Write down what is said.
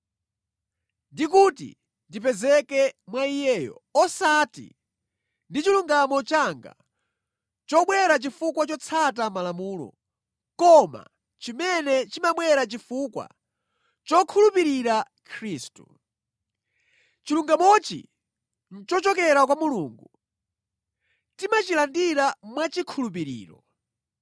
ndi kuti ndipezeke mwa Iyeyo, osati ndi chilungamo changa chobwera chifukwa chotsata malamulo, koma chimene chimabwera chifukwa chokhulupirira Khristu. Chilungamochi nʼchochokera kwa Mulungu, timachilandira mwachikhulupiriro.